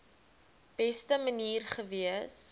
beste manier gewees